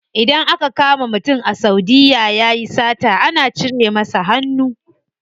Idan aka kama mutum a saudiya yayi sata ana cire masa hannu.